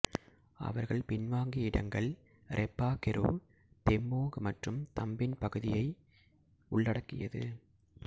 அவர்கள் பின்வாங்கிய இடங்கள் ரெப்பா கெரு தெபோங் மற்றும் தம்பின் பகுதிகளை உள்ளடக்கியது